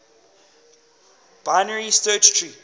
binary search tree